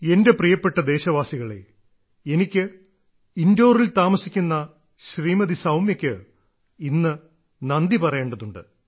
എന്റെ പ്രിയപ്പെട്ട ദേശവാസികളേ എനിക്ക് ഇൻഡോറിൽ താമസിക്കുന്ന ശ്രീമതി സൌമ്യയ്ക്ക് ഇന്ന് നന്ദി പറയേണ്ടതുണ്ട്